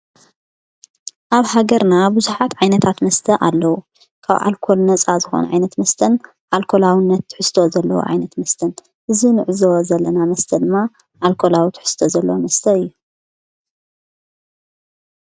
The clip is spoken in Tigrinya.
ኣብ ሃገርና ብዙኃት ዓይነታት መስተ ኣለዉ ካብ ኣልኮል ነፃ ዝኾን ዓይነት ምስተን ኣልኮላውነት ትሕስተ ዘለዉ ዓይነት ምስተን እዙይ ንሕዝወ ዘለና መስተ ድማ ኣልኮላው ትሕስተ ዘለ ምስተ እየ።